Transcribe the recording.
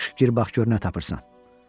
Yaxşı, gir bax gör nə tapırsan.